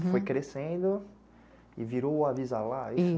Foi crescendo e virou o Avisa Live.